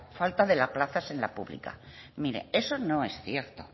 falta de plazas en la pública mire eso no es cierto